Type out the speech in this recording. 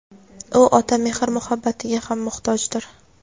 u ota mehr-muhabbatiga ham muhtojdir.